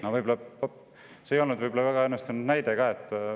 See ei olnud väga õnnestunud näide.